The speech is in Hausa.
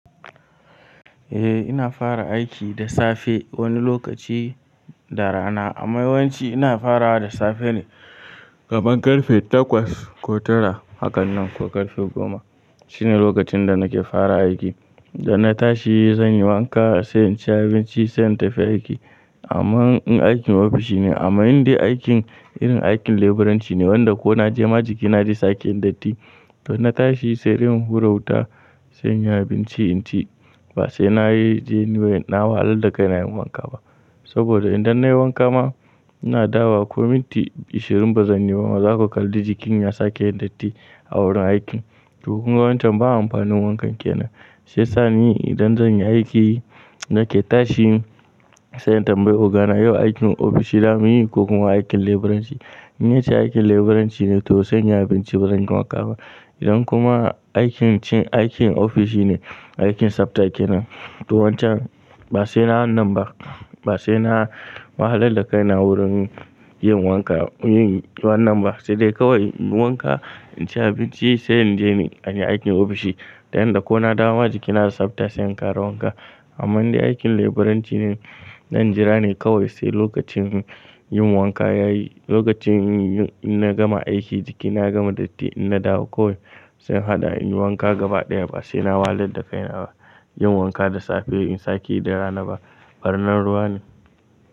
Ina fara aiki da safe wani lokaci da rana. Amma yawanci ina farawa da safe ne kaman ƙarfe takwas ko tara, hakan nan ko ƙarfe goma shine lokacin da nake fara aiki. Da na tashi zan yi wanka, sai in ci abinci, sai in tafi aiki. Amma in aikin ofishi ne, amma in dai aikin irin aikin laburanci ne wanda ko na je ma jikina zai sake yin datti, toh in tashi sai dai in hura wuta, sai in yi abinci in ci ba sai na je na yi na wahalar da kaina yin wanka ba. Saboda idan na yi wanka ma, ina dawawo ko minti ashirin ba zan yi ba ma zaka kalli jikin ya sake yin datti a wurin aiki. Toh kuma wancan ba amfanin wankan ke nan. Sai sa ni idan zan yi aikin nake tashi, sai in tambayi ogana yau aikin ofishi zamuyi ko kuma aikin leburanci. In yace aikin leburanci ne, toh sai in yi abinci ba zan yi wanka ba. Idan kuma aikin ce aikin ofishi ne, aikin tsaftace nan, to wancan ba sai na wannan ba, ba sai na wahalar da kaina wurin yin wanka yin wannan ba, sai dai kawai in wanka, in ci abinci sai in je aiki ofishi. Yanda ko na dawo ma jikina da tsafta sai in ƙara wanka. Amma in dai aikin leburanci ne, zan jira ne kawai sai lokacin yin wanka ya yi. Lokacin in na gama aiki jikina ya gama datti, in na dawo kawai sai hada in yi wanka gaba ɗaya ba sai na wahalar da kaina ba. Yin wanka da safe in sake yi da rana ba, barnan ruwa ne.